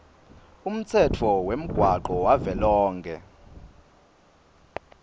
umtsetfo wemgwaco wavelonkhe